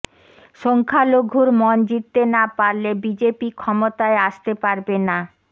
সংখ্যালঘুর মন জিততে না পারলে বিজেপি ক্ষমতায় আসতে পারবে না